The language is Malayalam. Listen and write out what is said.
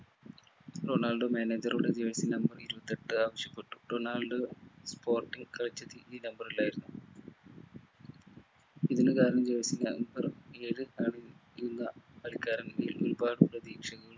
റൊണാൾഡോ manager റോഡ് ചോദിച്ചു jersey number ഇരുപത്തിയെട്ട് ആവശ്യപ്പെട്ടു റൊണാൾഡോ sporting കളിച്ചത് ഈ number ലായിരുന്നു ഇന്ന് കാണുന്ന jersey number ഏഴ് ആണ് ഇന്ന് ആൾക്കാരിൽ ഒരുപാട് പ്രതീക്ഷകൾ